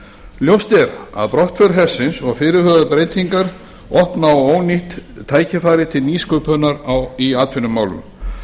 er að brottför hersins og fyrirhugaðar breytingar opna á ónýtt tækifæri til nýsköpunar í atvinnumálum